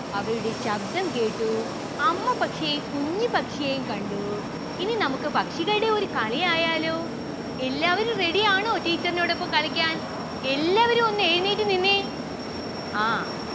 അവരുടെ ശബ്ദം കേട്ടൂ അമ്മ പക്ഷിയെയും കുഞ്ഞി പക്ഷിയെയും കണ്ടു. ഇനി നമുക്ക് പക്ഷികളുടെ ഒരു കളി ആയാലോ എല്ലാവരും ready ആണ teacher ന്റോടോപ്പം കളിക്കാൻ എല്ലാവരും ഒന്ന് എഴുന്നേറ്റു നിന്നെ ആ